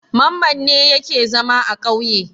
Mamman ne yake zama a ƙauye.